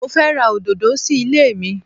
Mo fẹ́ ra òdòdó sí ilé mi.